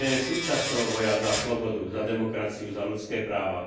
súčasť boja za slobodu, za demokraciu, za ľudské práva.